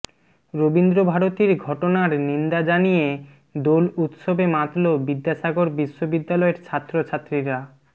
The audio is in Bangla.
রবীন্দ্রভারতীর ঘটনার নিন্দা জানিয়ে দোল উৎসবে মাতল বিদ্যাসাগর বিশ্ববিদ্যালয়ের ছাত্র ছাত্রীরা